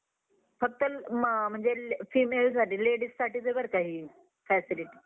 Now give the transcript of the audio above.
फक्त म्हणजे female साठी ladies साठीच आहे बरंका हि facility.